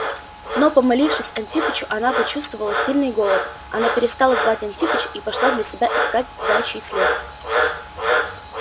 но помолившись антипычу она почувствовала сильный голод она перестала звать антипыча и пошла для себя искать заячий след